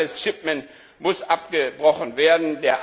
Illegales shipment muss abgebrochen werden.